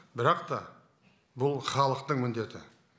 бірақ та бұл халықтың міндеті